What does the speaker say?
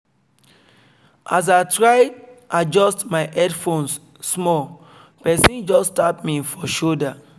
as i try adjust my headphones small person just tap me for shoulder